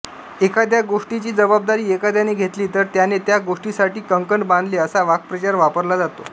एखाद्या गोष्टीची जबाबदारी एखाद्याने घेतली तर त्याने त्या गोष्टीसाठी कंकण बांधले असा वाक्प्रचार वापरला जातो